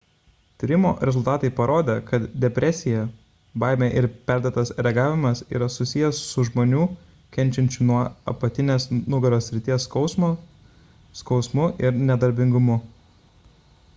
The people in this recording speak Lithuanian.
tyrimo rezultatai parodė kad depresija baimė ir perdėtas reagavimas yra susijęs su žmonių kenčiančių nuo apatinės nugaros srities skausmo skausmu ir nedarbingumu